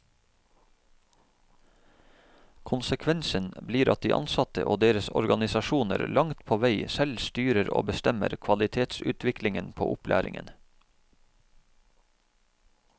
Konsekvensen blir at de ansatte og deres organisasjoner langt på vei selv styrer og bestemmer kvalitetsutviklingen på opplæringen.